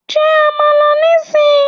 Jẹ Àmàlà ní sì yí!